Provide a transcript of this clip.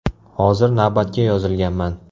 Hozir navbatga yozilganman.